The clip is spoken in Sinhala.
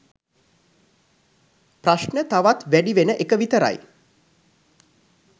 ප්‍රශ්න තවත් වැඩිවන එක විතරයි